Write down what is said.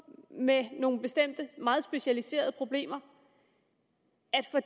med nogle bestemte meget specialiserede problemer